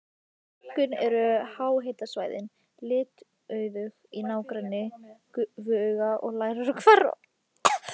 Einkum eru háhitasvæðin litauðug í nágrenni gufuaugna og leirhvera.